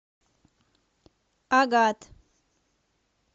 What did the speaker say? агат